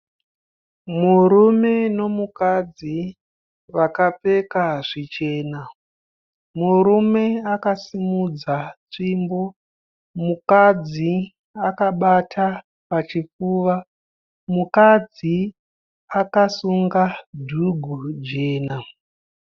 Murume nemukadzi vakapfeka zvichena. Murume akasimudza tsvimbo, mukadzi akabata pachipfuva. Mukadzi akasunga dhugu jena.